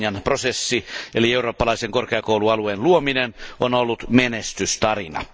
Bolognan prosessi eli eurooppalaisen korkeakoulualueen luominen on ollut menestystarina.